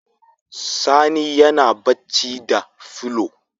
Sani yana bacci da fulo